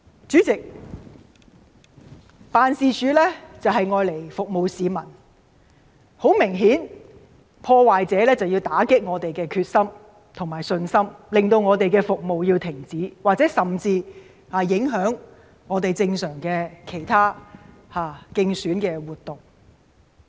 主席，地區辦事處的用途是服務市民，而明顯地，破壞者便是想打擊我們的決心和信心，令我們的服務停止，甚至影響我們的正常競選活動。